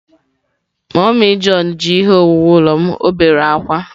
Mummy john ji ihe owuwu ulo m, o bere akwa.